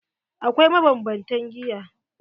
Akwai mabanbantan giya.